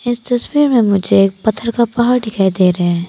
इस तस्वीर में मुझे एक पत्थर का पहाड़ दिखाई दे रहे हैं।